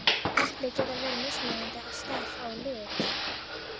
Epli geta verið mismunandi að stærð og lit.